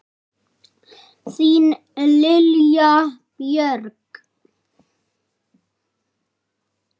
Þín Lilja Björg.